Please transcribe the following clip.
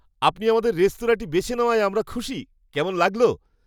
আপনি আমাদের রেস্তোরাঁটি বেছে নেওয়ায় আমরা খুশি। কেমন লাগলো?